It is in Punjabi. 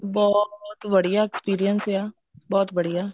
ਬਹੁਤ ਬੜੀਆ experience ਹੈ ਬਹੁਤ ਬੜੀਆ